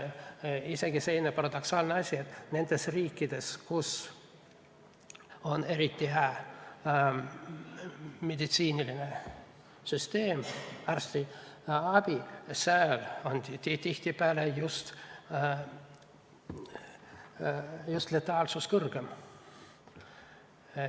Isegi selline paradoksaalne asi, et nendes riikides, kus on eriti hää meditsiiniline süsteem, arstiabi, on tihtipeale just letaalsus kõrgem.